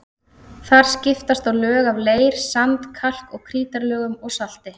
Þar skiptast á lög af leir-, sand-, kalk- og krítarlögum og salti.